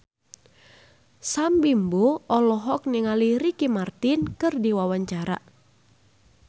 Sam Bimbo olohok ningali Ricky Martin keur diwawancara